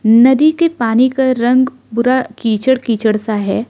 नदी के पानी का रंग पूरा कीचड़ कीचड़ सा है।